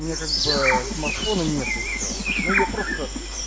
у меня как бы смартфона нет ещё но я просто